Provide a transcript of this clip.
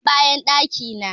Nan bayan ɗaki na